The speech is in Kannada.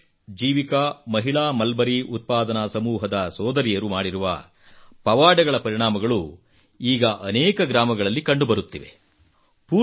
ಆದರ್ಶ್ ಜೀವಿಕಾ ಮಹಿಳಾ ಮಲ್ಬರಿ ಉತ್ಪಾದನಾ ಸಮೂಹದ ಸೋದರಿಯರು ಮಾಡಿರುವ ಪವಾಡಗಳ ಪರಿಣಾಮಗಳು ಈಗ ಅನೇಕ ಗ್ರಾಮಗಳಲ್ಲಿ ಕಂಡು ಬರುತ್ತಿವೆ